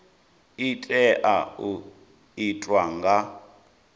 i tea u itwa nga